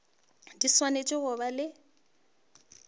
di swanetše go ba le